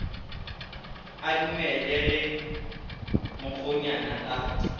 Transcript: a dumele ge mokgonyana a